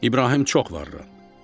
İbrahim çox varlandı.